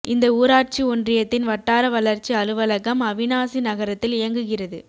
இந்த ஊராட்சி ஒன்றியத்தின் வட்டார வளர்ச்சி அலுவலகம் அவிநாசி நகரத்தில் இயங்குகிறது